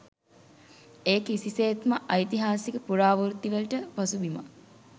එය කිසිසේත්ම ඓතිහාසික පුරාවෘත්ති වලට පසුබිමක්